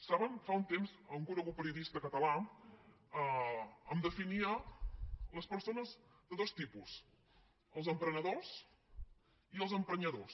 saben fa un temps un conegut periodista català em definia les persones de dos tipus els emprenedors i els emprenyadors